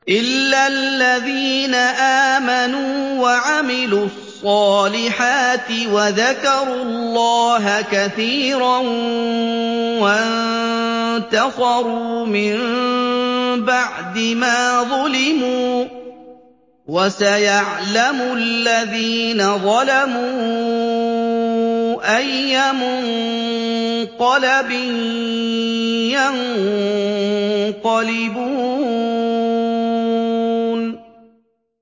إِلَّا الَّذِينَ آمَنُوا وَعَمِلُوا الصَّالِحَاتِ وَذَكَرُوا اللَّهَ كَثِيرًا وَانتَصَرُوا مِن بَعْدِ مَا ظُلِمُوا ۗ وَسَيَعْلَمُ الَّذِينَ ظَلَمُوا أَيَّ مُنقَلَبٍ يَنقَلِبُونَ